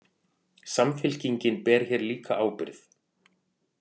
Samfylkingin ber hér líka ábyrgð